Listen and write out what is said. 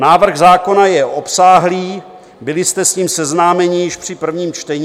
Návrh zákona je obsáhlý, byli jste s ním seznámeni již při prvním čtení.